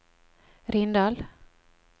Rindal